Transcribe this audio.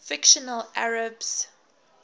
fictional arabs